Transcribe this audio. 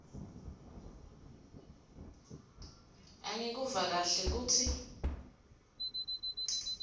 angikuva kahle kutsi